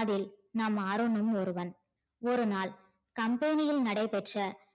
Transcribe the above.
அதில் நம் அருண்னும் ஒருவன் ஒருநாள் company நடைபெற்ற